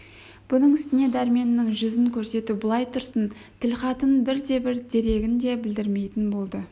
бұның үстіне дәрменнің жүзін көрсету былай тұрсын тілхатын бірде-бір дерегін де білдірмейтін болды